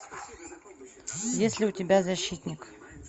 есть ли у тебя защитник